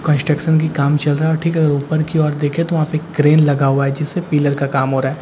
Construction की काम चल रहा है और ठीक है अगर ऊपर की ओर देखें तो वहां पे क्रेन लगा हुआ है जिससे पिलर का काम हो रहा है।